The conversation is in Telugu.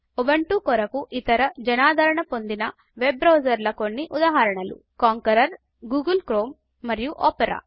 ఉబుంటు కొరకు ఇతర జనాదరణ పొందిని వెబ్ బ్రౌజర్ల కొన్ని ఉదాహరణలు కాన్కరర్ గూగుల్ క్రోమ్ మరియు ఒపేరా